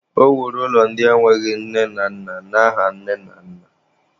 O wuru ụlọ ndị enweghị nne na nna n'aha nne na nna.